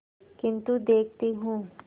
किन्तु देखती हूँ